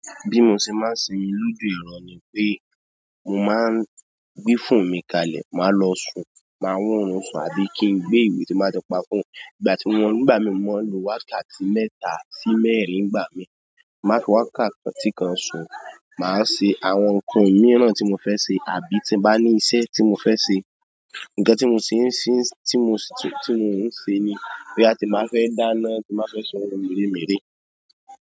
Bí mo ṣe máa ń ṣe lójú èrò ni pé mo máa ń gbé phone mi kalẹ̀, máa lọ sùn, máa wón orun sùn àbí kí n gbé ìwé tí n bá ti pa phone. Ìgbà tí mo ń gbà mí mo máa ń lo wákàtí mẹ́ta sí mẹ́rin ń gbà mí. Máa fi wákàtí kan sùn, màá ṣe àwọn ǹkan mìíràn tí mo fẹ́ ṣe àbí tí bá ní iṣẹ́ tí mo fẹ́ ṣe. Nǹkan tí mo sì ń ṣe tí mo, tí mo ń ṣe ni bóyá tí n bá fẹ́ dáná, tí n bá á fẹ́ ṣe ohun mère mère.